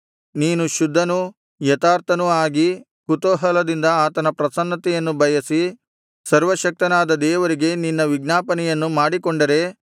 ನೀನು ಶುದ್ಧನೂ ಯಥಾರ್ಥನೂ ಆಗಿ ಕುತೂಹಲದಿಂದ ಆತನ ಪ್ರಸನ್ನತೆಯನ್ನು ಬಯಸಿ ಸರ್ವಶಕ್ತನಾದ ದೇವರಿಗೆ ನಿನ್ನ ವಿಜ್ಞಾಪನೆಯನ್ನು ಮಾಡಿಕೊಂಡರೆ